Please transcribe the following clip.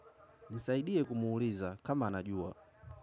Nisaidie kumuuliza kama anajua.